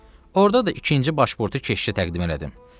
Orda da ikinci başburtu keşişə təqdim elədim.